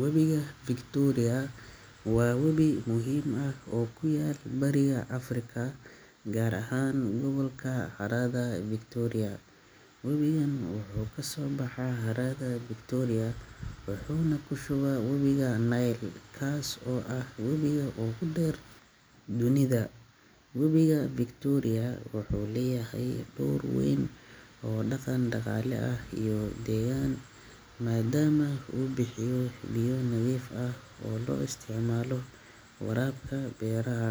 Webiga Victoria waa webi muhiim ah oo ku yaal bariga Afrika, gaar ahaan gobolka harada Victoria. Webigan wuxuu ka soo baxaa harada Victoria wuxuuna ku shubaa webiga Nile, kaas oo ah webiga ugu dheer dunida. Webiga Victoria wuxuu leeyahay door weyn oo dhaqan-dhaqaale iyo deegaan, maadaama uu bixiyo biyo nadiif ah oo loo isticmaalo waraabka beeraha,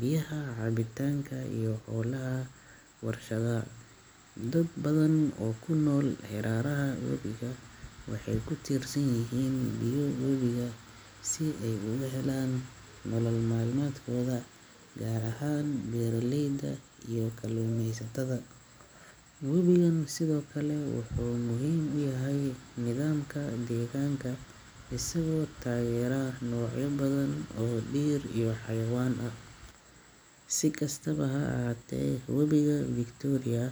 biyaha cabitaanka, iyo howlaha warshadaha. Dad badan oo ku nool hareeraha webiga waxay ku tiirsan yihiin biyo webiga si ay uga helaan nolol maalmeedkooda, gaar ahaan beeralayda iyo kalluumaysatada. Webigan sidoo kale wuxuu muhiim u yahay nidaamka deegaanka, isagoo taageera noocyo badan oo dhir iyo xayawaan ah. Si kastaba ha ahaatee, webiga Victoria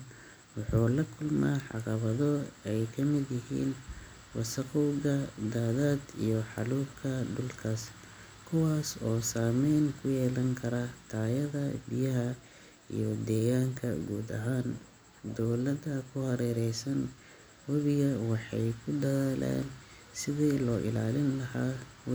wuxuu la kulmaa caqabado ay ka mid yihiin wasakhowga, daadad, iyo xaalufka dhulka, kuwaas oo saameyn ku yeelan kara tayada biyaha iyo deegaanka guud ahaan. Dowladaha ku hareeraysan webiga waxay ku dadaalayaan sidii loo ilaalin lahaa we.